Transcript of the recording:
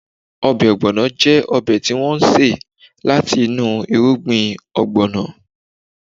Ọbẹ̀ Ogbono jẹ́ ọbẹ̀ tí wọ́n ṣe láti inú irugbin ogbono